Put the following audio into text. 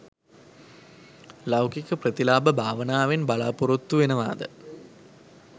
ලෞකික ප්‍රතිලාභ භාවනාවෙන් බලාපොරොත්තු වෙනවාද